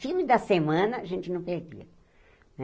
Filme da semana, a gente não perdia né.